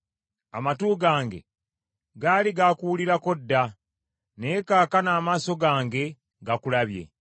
Amatu gange gaali gaakuwulirako dda, naye kaakano amaaso gange gakulabye.